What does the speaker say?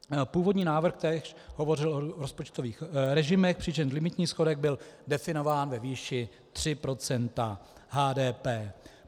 Původní návrh též hovořil o rozpočtových režimech, přičemž limitní schodek byl definován ve výši 3 % HDP.